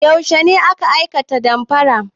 Yaushe ne aka aikata damfarar?